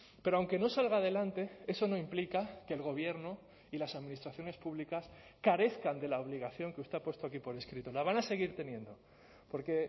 pero aunque no salga adelante eso no implica que el gobierno y las administraciones públicas carezcan de la obligación que usted ha puesto aquí por escrito la van a seguir teniendo porque